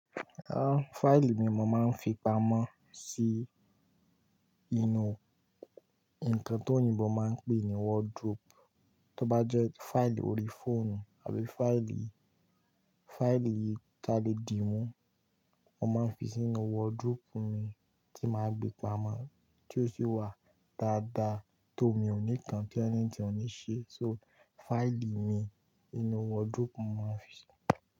Ah! Fáìlì mi mo máa ń fi pamọ́ sí inú ǹkan tó òyìnbó máa ń pè ní wardrobe. Tí ó bá jẹ́ fáìlì ori fóònù àbí fáìlì, fáìlì kí a lè dì mú, mo máa ń fi sínú wardrobe mi tí màá gbé pamọ́ tí ó sì wà dáadáa tó omi onikan ti anything ò ní ṣe, so fáìlì mi inú wardrobe mo máa ń fi.